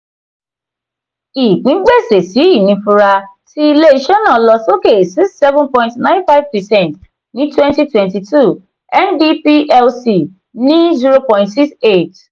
ìpín gbese-si-inifura ti ile-iṣẹ náà lọ sókè six seven point nine fice percent ní twenty twenty two nb plc ní zero point six eight.